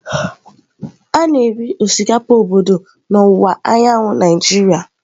A na-eri osikapa obodo n'ọwụwa anyanwụ Naịjirịa.